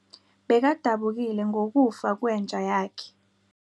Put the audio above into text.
Bekadabukile ngokufa kwenja yakhe.